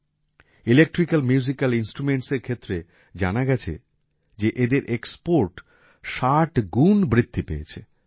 electrical musical ইন্সট্রুমেন্টসএর ক্ষেত্রে জানা গেছে যে এদের এক্সপোর্ট ষাট গুণ বৃদ্ধি পেয়েছে